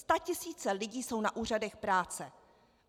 Statisíce lidí jsou na úřadech práce.